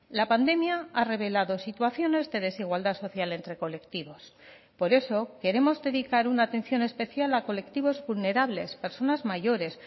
la pandemia ha revelado situaciones de desigualdad social entre colectivos por eso queremos dedicar una atención especial a colectivos vulnerables personas mayores